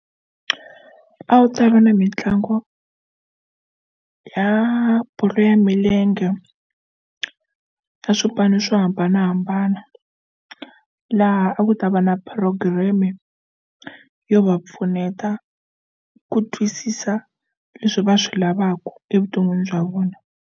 A wu tava na mitlangu ya bolo ya milenge ya swipano swo hambanahambana laha a ku ta va na program-e yo va pfuneta ku twisisa leswi va swi lavaka evuton'wini bya vona.